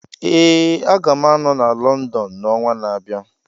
Ee, Aga m anọ na London n'ọnwa na-abịa.